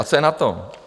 A co je na tom?